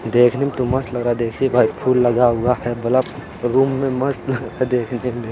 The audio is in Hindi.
देखने में तो मस्त लग रहा है देख वाइट फूल लगा है हुआ है। बल्ब रूम में मस्त देखने में--